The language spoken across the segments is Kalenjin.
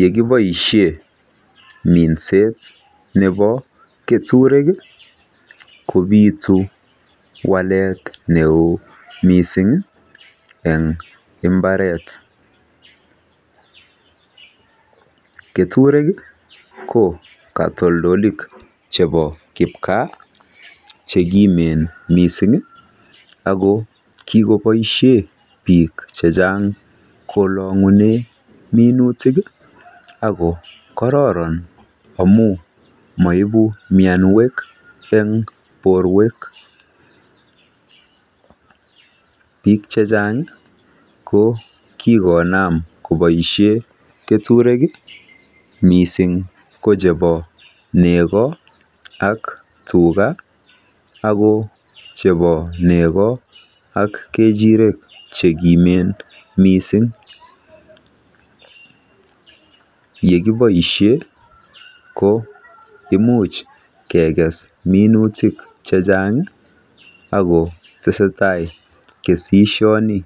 Yekiboishe minset nebo keturek kopitu walet neo mising eng mbaret. Keturek ko katoltolik chebo kipgaa che kimen mising ako kikoboishe biik chechang kolong'une minutik ako kororon amu maibu mianwek eng porwek. Biik chechang kokinam koboishe keturek mising ko chebonego tuga ako chebo nego ak kechirek chekimen mising. Yekiboishe ko imuch kekes minutik chechang ako tesetai kesishoni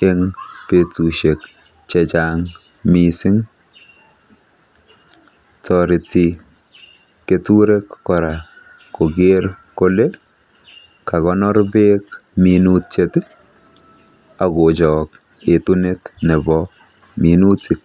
eng petushek chechang mising. Toreti keturek kora koker kole kakonor beek minutiet ak kochok etunet nebo minutik.